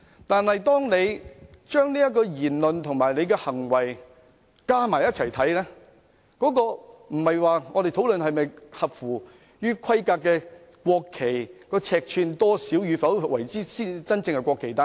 但當我們綜合他的相關言論和行為，我們要討論的便不是國旗是否合乎規格，又或者尺寸多少才算是真正的國旗。